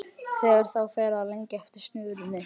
Þegar þá fer að lengja eftir snörunni.